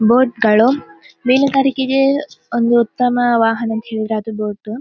Boat ಗಳು ಮೀನುಗಾರಿಕೆಗೆ ಒಂದು ಉತ್ತಮ ವಾಹನ ಅಂತ ಹೇಳಿದ್ರೆ ಅದು ಬೋಟ್ .